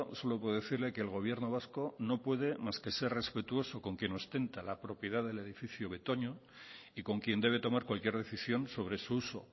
solo puedo decirle que el gobierno vasco no puede más que ser respetuoso con quien ostenta la propiedad del edificio betoño y con quien debe tomar cualquier decisión sobre su uso